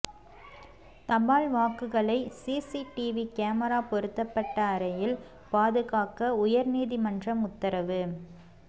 தபால் வாக்குகளை CCTV camera பொருத்தப்பட்ட அறையில் பாதுகாக்க உயர்நீதிமன்றம் உத்தரவு